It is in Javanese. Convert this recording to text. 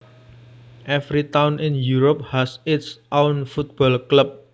Every town in Europe has its own football club